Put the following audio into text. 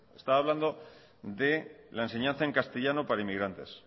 estaba hablando de la enseñanza en castellano para inmigrantes